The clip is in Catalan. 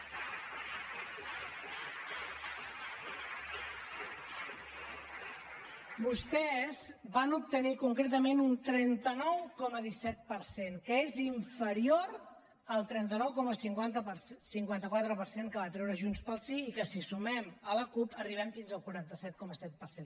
vostès van obtenir concretament un trenta nou coma disset per cent que és inferior al trenta nou coma cinquanta quatre per cent que va treure junts pel sí i que si hi sumem la cup arribem fins al quaranta set coma set per cent